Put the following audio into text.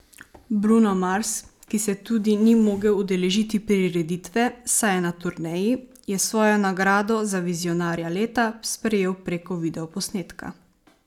Bruno Mars, ki se tudi ni mogel udeležiti prireditve, saj je na turneji, je svojo nagrado za vizionarja leta sprejel preko video posnetka.